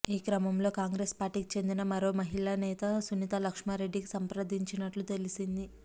ఈ క్రమంలో కాంగ్రెస్ పార్టీకి చెందిన మరో మహిళా నేత సునీతా లక్ష్మారెడ్డికి సంప్రదించినట్లు తెలిసింది